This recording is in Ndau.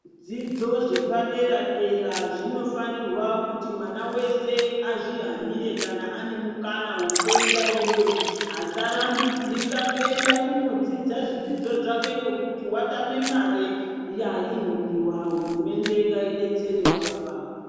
Zvidzidzo zvepadera dera zvinofanirwa kuti mwana vese azvihanire kana ane mukana vekuenda iyoyo asarambidzika kuenda kunodzidza zvidzidzo zvake nekuti vatame mare inodiwa . Hurumende ngaidetserewo ipapa .